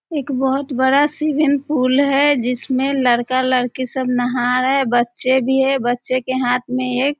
एक बोहोत बड़ा स्विमिंग पुल है। जिसमें लड़का-लड़की सब नहा रहे हैं बच्चे भी है जिसमें बच्चे के हाथ में एक --